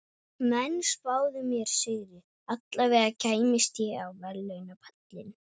Menn spáðu mér sigri, allavega kæmist ég á verðlaunapallinn.